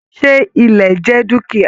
Ṣe ilẹ̀ jẹ dukia?